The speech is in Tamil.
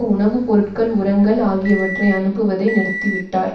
உணவு பொருட்கள் உரங்கள் ஆகியவற்றை அனுப்புவதை நிறுத்திவிட்டார்